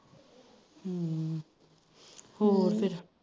ਹੋਰ ਫਿਰ